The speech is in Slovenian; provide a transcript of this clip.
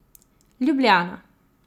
Ljubljana.